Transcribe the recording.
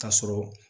Ka sɔrɔ